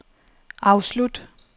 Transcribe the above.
afslut